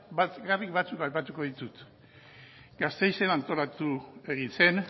batzuk bakarrik aipatuko ditut gasteizen antolatu egin zen